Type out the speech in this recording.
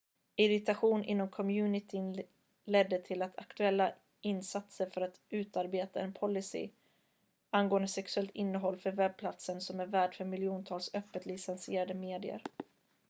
irritation inom communityn ledde till de aktuella insatserna för att utarbeta en policy angående sexuellt innehåll för webbplatsen som är värd för miljontals öppet licensierade medier